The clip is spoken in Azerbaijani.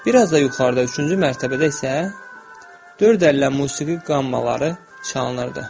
Bir az da yuxarıda üçüncü mərtəbədə isə dörd əllə musiqi qammaları çalınırdı.